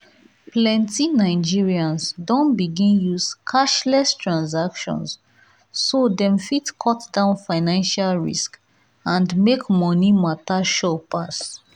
plenty nigerians don begin use cashless transactions so dem fit cut down financial risks and make money matter sure pass.